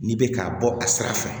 N'i bɛ ka bɔ a sira fɛ